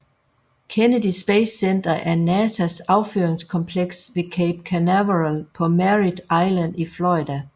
Kennedy Space Center er NASAs affyringskompleks ved Cape Canaveral på Merrit Island i Florida